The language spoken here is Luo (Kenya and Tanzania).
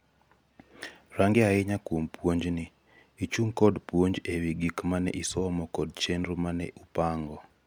range ahinya kuom puonj ni; ichung kod puonj ewi gik mane isomo kod chenro mane upango